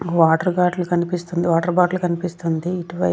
water bottle కనిపిస్తుంది water bottle కనిపిస్తుంది ఇటు వై--